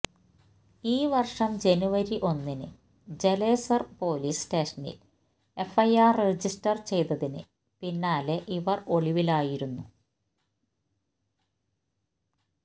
ഈ വർഷം ജനുവരി ഒന്നിന് ജലേസർ പൊലീസ് സ്റ്റേഷനിൽ എഫ്ഐആർ രജിസ്റ്റർ ചെയ്തതിന് പിന്നാലെ ഇവർ ഒളിവിലായിരുന്നു